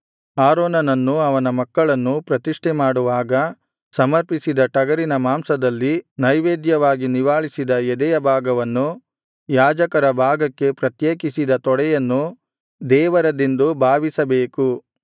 ಆರೋನನನ್ನೂ ಅವನ ಮಕ್ಕಳನ್ನೂ ಪ್ರತಿಷ್ಠೆ ಮಾಡುವಾಗ ಸಮರ್ಪಿಸಿದ ಟಗರಿನ ಮಾಂಸದಲ್ಲಿ ನೈವೇದ್ಯವಾಗಿ ನಿವಾಳಿಸಿದ ಎದೆಯ ಭಾಗವನ್ನೂ ಯಾಜಕರ ಭಾಗಕ್ಕೆ ಪ್ರತ್ಯೇಕಿಸಿದ ತೊಡೆಯನ್ನೂ ದೇವರದೆಂದು ಭಾವಿಸಬೇಕು